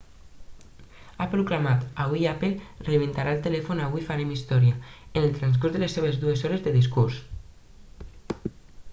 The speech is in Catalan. ha proclamat avui apple reinventarà el telèfon avui farem història en el transcurs de les seves dues hores de discurs